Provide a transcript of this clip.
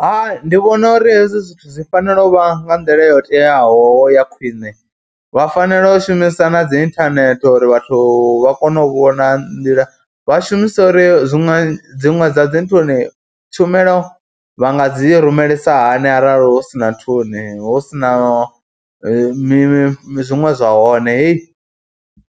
Hai ndi vhona uri hezwi zwithu zwi fanela u vha nga nḓila yo teaho ya khwine vha fanela u shumisa na dzi inthanethe uri vhathu vha kone u vhona nḓila, vha shumise uri zwiṅwe dziṅwe dza dzi nthuni tshumelo vha nga dzi rumelisiwa hani arali hu si na nthuni, hu si na mi, zwiṅwe zwa hone heyi.